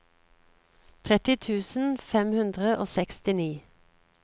tretti tusen fem hundre og sekstini